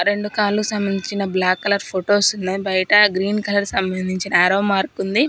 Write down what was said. రెండు కార్లు సంబంధించిన బ్లాక్ కలర్ ఫోటోస్ ఉన్నాయి బయట గ్రీన్ కలర్ సంబంధించిన యారో మార్క్ ఉంది.